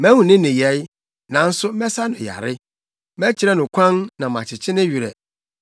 Mahu ne nneyɛe, nanso mɛsa no yare. Mɛkyerɛ no kwan na makyekye ne werɛ,